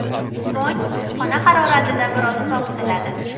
So‘ng xona haroratida biroz sovitiladi.